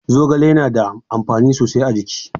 Zogale na da amfani sosai a jiki.